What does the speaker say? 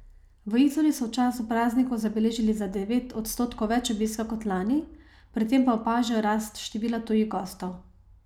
V Izoli so v času praznikov zabeležili za devet odstotkov več obiska kot lani, pri tem pa opažajo rast števila tujih gostov.